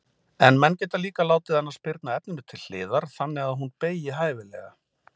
En menn geta líka látið hana spyrna efninu til hliðar þannig að hún beygi hæfilega.